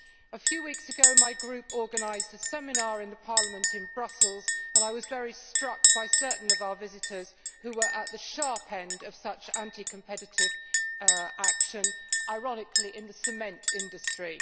A few weeks ago my group organised a seminar at Parliament in Brussels, and I was very struck by certain of our visitors who were at the sharp end of such anti competitive action, ironically in the cement industry.